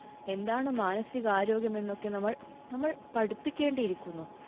എന്താണ് മാനസിക ആരോഗ്യമെന്നൊക്കെ നമ്മൾ നമ്മൾ പഠിപ്പിക്കേണ്ടിയിരിക്കുന്നു.